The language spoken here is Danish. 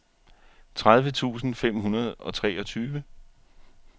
tredive tusind fem hundrede og treogtyve